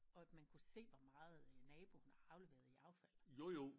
Og at man kunne se hvor meget naboen har afleveret i affald